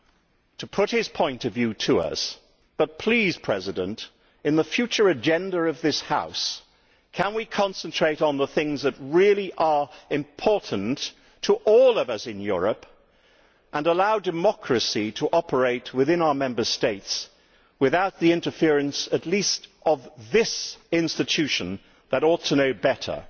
and to put his point of view to us, but please, Mr President, in the future agenda of this House can we concentrate on the things that really are important to all of us in Europe and allow democracy to operate within our Member States without the interference at least of this institution that ought to know better?